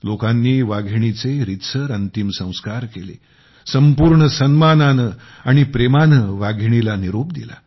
लोकांनी वाघिणीचे रीतसर अंतिम संस्कार केले संपूर्ण सन्मानाने आणि प्रेमाने वाघिणीला निरोप दिला